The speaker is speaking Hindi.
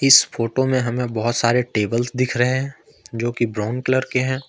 इस फोटो में हमें बहोत सारे टेबल दिख रहे हैं जो कि ब्राउन कलर के हैं।